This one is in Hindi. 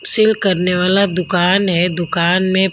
सेल करने वाला दुकान हैदुकान में--